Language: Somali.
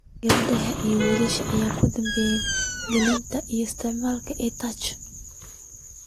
Gabdhaha ayaa wiilasha ka dambeeya gelitaanka iyo isticmaalka EdTech.